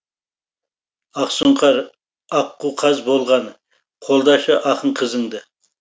ақсұңқар аққу қаз болған қолдашы ақын қызыңды